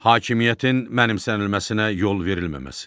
Hakimiyyətin mənimsənilməsinə yol verilməməsi.